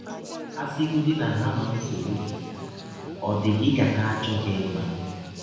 A sịgọdị na ha ma nsọgbụ gị, ọ dị gị ka ha achọghị ịma.